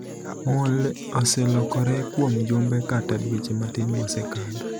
Mole' oselokore kuom jumbe kata dweche matin mosekadho.